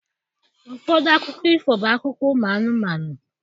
Ụfọdụ akụkọ ifo bụ akụkọ ụmụ anụmanụ.